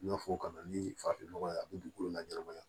N y'a fɔ ka na ni farafin nɔgɔ ye a bɛ dugukolo laɲɛnɛmaya